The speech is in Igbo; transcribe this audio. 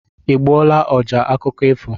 I gbuola ọjá akụkọ ifo?